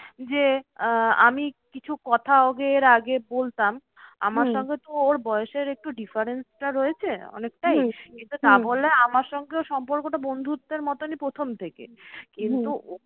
যে আহ আমি কিছু কথা ওদের আগে বলতাম আমার সঙ্গে তো ওর বয়সের একটু difference টা রয়েছে অনেকটাই, তাবলে আমার সঙ্গে ওর সম্পর্কটা বন্ধুত্বের মতনই প্রথম থেকে। কিন্তু